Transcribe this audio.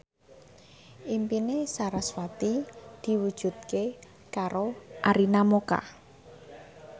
impine sarasvati diwujudke karo Arina Mocca